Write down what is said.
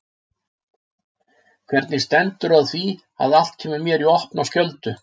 Hvernig stendur á því að allt kemur mér í opna skjöldu?